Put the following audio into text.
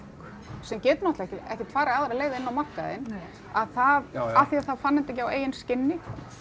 sem getur ekkert farið aðra leið inn á markaðinn að það af því að það fann þetta ekki á eigin skinni